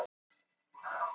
Vélin er vængjaður örn.